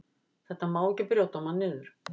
Þetta má ekki brjóta mann niður.